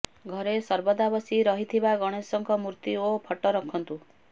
ଘରେ ସର୍ବଦା ବସି ରହିଥିବା ଗଣେଶଙ୍କ ମୂର୍ତ୍ତି ଓ ଫଟୋ ରଖନ୍ତୁ